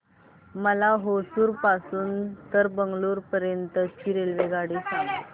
मला होसुर पासून तर बंगळुरू पर्यंत ची रेल्वेगाडी सांगा